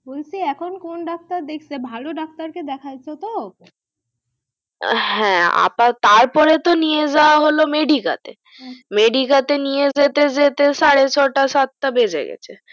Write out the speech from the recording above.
বলছি এখন কোন doctor দেখছে ভালো doctor কে দেখাইছো তো আ হ্যা তারপর তো নিয়ে যাওয়া হলো মেডিকা তে মেডিকা তে নিয়ে যেতে যেতে সাড়ে ছয়টা সাতটা বেজে গেছে